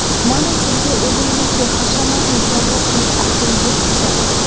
Mana sizga o‘zingizga hashamatli sovg‘a qilish uchun yetti sabab!